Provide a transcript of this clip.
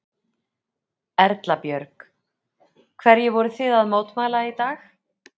Erla Björg: Hverju voru þið að mótmæla í dag?